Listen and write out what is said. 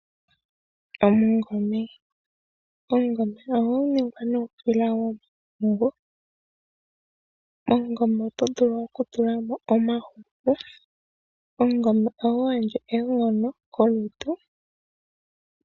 Omungome ohagu ningwa nuusila womahangu, momungombe ohagu vulu oku ningwa mwa tulwa omahuku opo gukale gwatowala nawa. Omungome ohagu gandja oonkondo kolutu opo wuvule oku longa iilonga ya yolokathana.